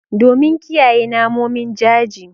Domin kiyaye namomin jaji